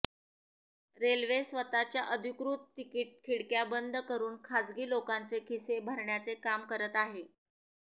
railway स्वतःच्या अधिकृत ticket खिडक्या बंद करून खासगी लोकांचे खिसे भरण्याचे काम करत आहे